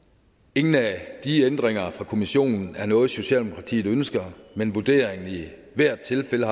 ingen af de ændringer fra kommissionen er noget som socialdemokratiet ønsker men vurderingen har i hvert tilfælde